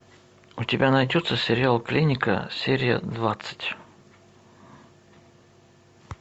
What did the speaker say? у тебя найдется сериал клиника серия двадцать